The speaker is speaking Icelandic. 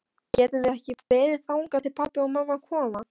Getum við ekki beðið þangað til pabbi og mamma koma?